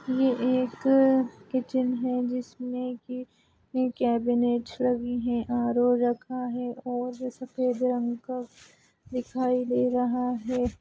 ये एक किचन है जिसमें की कैबिनेट लगी है आर.वो रखा है और जो सफेद रंग का दिखाई दे रहा है।